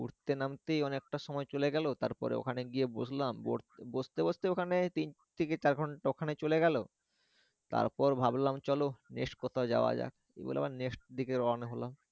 উঠতে নামতেই অনেক টা সময় চলে গেলো তারপরে ওখানে গিয়ে বসলাম বসতে বসতে ওখানে তিন থেকে চার ঘন্টা ওখানে চলে গেলো তারপর ভাবলাম চলো next কোথাও যাওয়া যাক এই বলে আবার next দিকে রওনা হলাম।